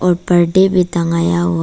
और बाल्टी भी टंगाया हुआ--